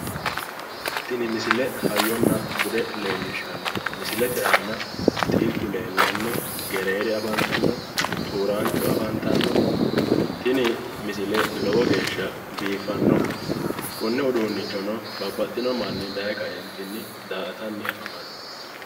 Tini misile hayyona bude leelishanno misilete aana xilitu leellano gereere afanitanno xuurancho afanittanno tini misile lowo geesha biifanno konne uduunnichono babbaxino mannino daye kaeenittinni da"atanno afamanmo